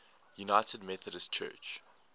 united methodist church